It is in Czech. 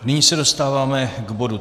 Nyní se dostáváme k bodu